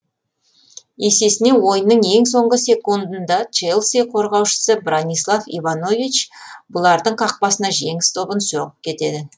есесіне ойынның ең соңғы секундында челси қорғаушысы бранислав иванович бұлардың қақпасына жеңіс добын соғып кетеді